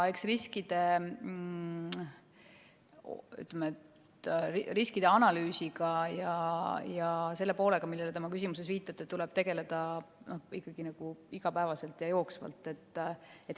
Eks riskide analüüsiga ja selle poolega, millele te oma küsimuses viitasite, tuleb tegeleda igapäevaselt ja jooksvalt.